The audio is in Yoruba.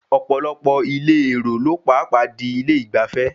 Ọ̀pọ̀lọpọ̀ ilé èro ló pàpà di ilé ìgbafẹ́.